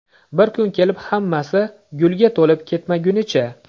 Bir kun kelib hammasi gulga to‘lib ketmagunicha.